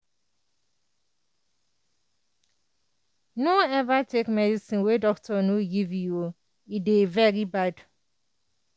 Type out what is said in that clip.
no ever take medicine wen doctor no give you o e dey very bad